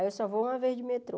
Aí eu só vou uma vez de metrô.